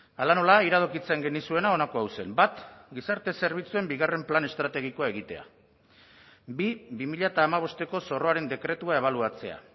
hala nola iradokitzen genizuena honako hau zen bat gizarte zerbitzuen bigarren plan estrategikoa egitea bi bi mila hamabosteko zorroaren dekretua ebaluatzea